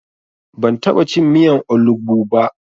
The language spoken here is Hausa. Ban taɓa cin miyan olugbu ba.